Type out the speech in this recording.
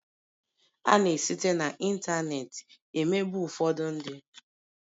A na esite na ịntanetị emegbu ụfọdụ ndị